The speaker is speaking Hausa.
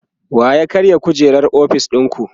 wa ya karya kujerar ofis ɗinku?